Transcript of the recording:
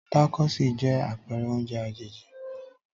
Tacosí jẹ́ àpẹrẹ oúnjẹ àjèjì.